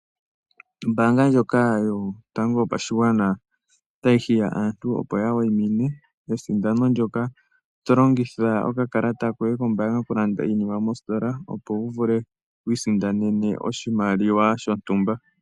Ombaanga ndjoka yotango yopashigwana otayi hiya aantu, opo ya wayimine esindano ndyoka tolongitha okakalata koye kombaanga okulanda iinima mositola wu vule okusindana oshimaliwa shontumba.